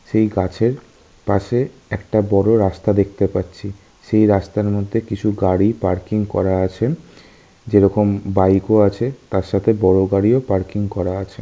সেই গাছের পাশে একটা বড় রাস্তা দেখতে পাচ্ছি। সেই রাস্তার মধ্যে কিছু গাড়ি পার্কিং করা আছে। যেরকম বাইক -ও আছে। তার সাথে বড় গাড়িও পার্কিং করা আছে।